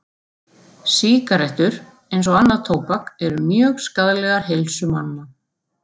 Sígarettur, eins og annað tóbak, eru mjög skaðlegar heilsu manna.